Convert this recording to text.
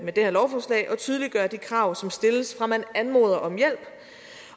tydeliggøre de krav som stilles fra man anmoder om hjælp